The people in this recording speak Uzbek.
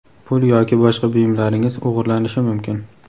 Pul yoki boshqa buyumlaringiz o‘g‘irlanishi mumkin.